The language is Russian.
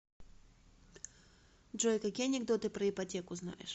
джой какие анекдоты про ипотеку знаешь